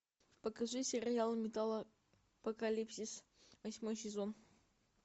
покажи сериал металлопокалипсис восьмой сезон